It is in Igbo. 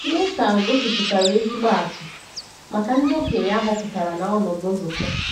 Nàthán gosipụtara ezigbo atụ maka ndị okenye a họpụtara n’ọnọdụ nzukọ.